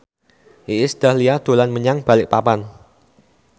Iis Dahlia dolan menyang Balikpapan